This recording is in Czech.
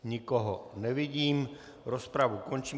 Nikoho nevidím, rozpravu končím.